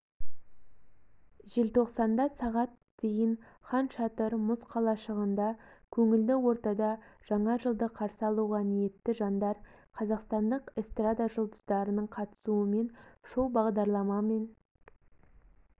желтоқсанда сағат дейін хан шатыр мұз қалашығында көңілді ортада жаңа жылды қарсы алуға ниетті жандар қазақстандық эстрада жұлдыздарының қатысуымен шоу-бағдарлама мен